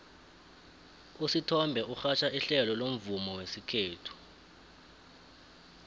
usithombe urhatjha ihlelo lomvumo wesikhethu